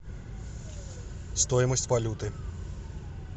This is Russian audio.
стоимость валюты